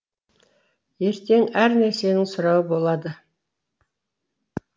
ертең әр нәрсенің сұрауы болады